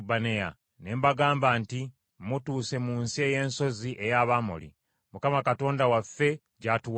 Ne mbagamba nti, “Mutuuse mu nsi ey’ensozi ey’Abamoli, Mukama Katonda waffe gy’atuwadde.